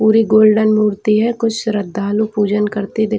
पूरी गोल्डन मूर्ति है। कुछ श्रद्धालू पूजन करते दिख--